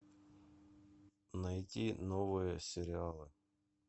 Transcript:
найти новые сериалы